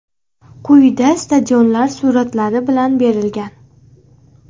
Quyida stadionlar suratlari bilan berilgan.